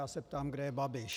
Já se ptám, kde je Babiš.